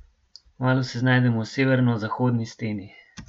Kmalu se znajdem v severnozahodni steni.